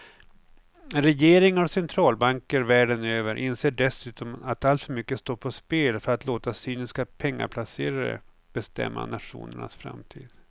Regeringar och centralbanker världen över inser dessutom att alltför mycket står på spel för att låta cyniska pengaplacerare bestämma nationernas framtid.